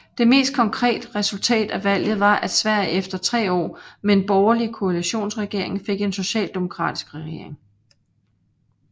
Det mest konkret resultat af valget var at Sverige efter tre år med en borgerlig koalitionsregering fik en socialdemokratisk regering